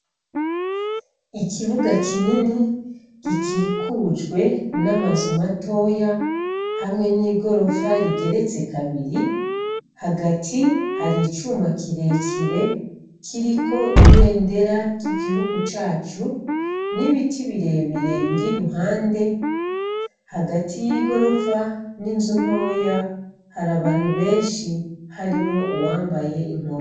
Ikibuga kinini gikikujwe n'amazu matoya hamwe n'igorofa rigeretse kabiri kagati ha'icuma kirekire kiriko ibendera ry'Igihugu cacu n'ibiti birebire bir'iruhande. Hagati y'igorofa n'inzu ntoya har'abantu beshi harimwo nuwambaye inkofero.